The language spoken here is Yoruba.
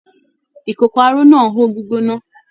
Ìkókó aró náà n ho gbígbóná.